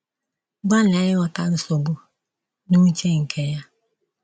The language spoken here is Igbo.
Gbalịa ịghọta nsogbu n'uche nke ya.